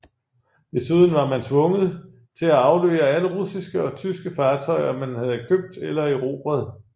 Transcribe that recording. Desuden var man tvunget til at aflevere alle russiske og tyske fartøjer man havde købt eller erobret